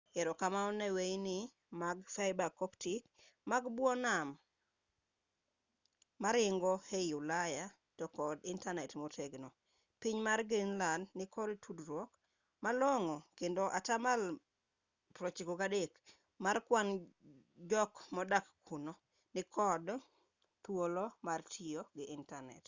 erokamano ne weyini mag fiber optic mag bwo nam moringo ei ulaya to kod intanet motegno piny mar greenlad nikod tudruok malong'o kendo atamalo 93 mar kwan jok modak kuno nikod thuolo mar tiyo gi intanet